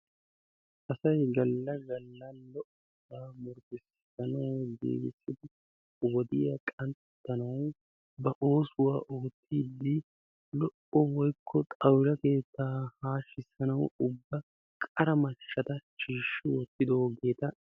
Asay galla galla lo"obaa murutissidi wodiya qanttanawu giigissidi ba oosuwa oottiiddi woykko xawula keettaa haashissanawu ubba qara mashshata shiishshi wottidosona.